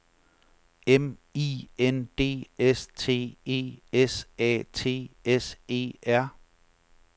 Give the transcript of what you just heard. M I N D S T E S A T S E R